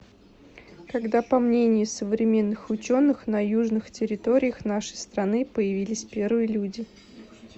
когда по мнению современных ученых на южных территориях нашей страны появились первые люди